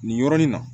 Nin yɔrɔnin na